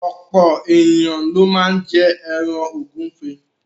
Ọ̀pọ̀ ènìyàn ló máá ń jẹ ẹran ògúnfe